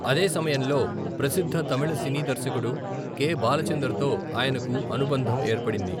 అదే సమయంలో ప్రసిద్ధ తమిళ సినీ దర్శకుడు కె.బాలచందర్ తో ఆయనకు అనుబంధం ఏర్పడింది.